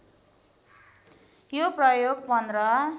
यो प्रयोग १५